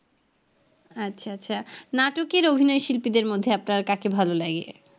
আচ্ছা আচ্ছা নাটকের অভিনয় শিল্পীদের মধ্যে আপনার কাকে ভালো লাগে?